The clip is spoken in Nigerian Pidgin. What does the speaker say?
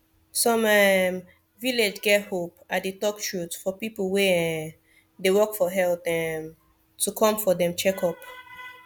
some um village get hope i dey talk truth for people wey um dey work for health um to come for dem checkup